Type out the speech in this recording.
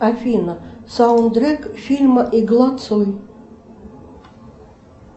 афина саундтрек фильма игла цой